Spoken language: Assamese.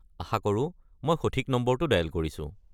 আশা কৰো মই সঠিক নম্বৰটো ডায়েল কৰিছো।